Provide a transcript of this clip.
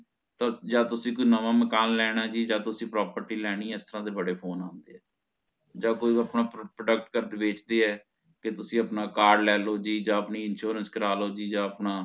ਯਾ ਤੁਸੀਂ ਕੋਈ ਨਵਾ ਮਕਾਨ ਲੇਣਾ ਜੀ ਯਾ ਤੁਸੀਂ property ਲੇਨੀ ਹੈ ਇਸ ਤਰ੍ਹਾਂ ਦੇ ਬੜੇ ਫੋਨੇ ਆਂਦੇ ਹੈ ਯਾ ਕੋਈ ਆਪਣਾ product ਵੇਚਦੇ ਹੈ ਤੇ ਤੁਸੀਂ ਆਪਣਾ ਕਾਰਡ ਲੇਲੋ ਜੀ ਯਾ ਆਪਣੀ insurance ਕਰਾਲੋ ਜੀ ਯਾ ਆਪਣਾ